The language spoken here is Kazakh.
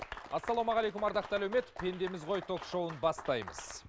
ассалаумағалейкум ардақты әлеумет пендеміз ғой ток шоуын бастаймыз